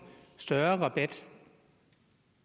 større rabat